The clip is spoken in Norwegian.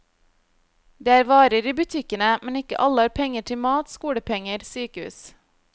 Det er varer i butikkene, men ikke alle har penger til mat, skolepenger, sykehus.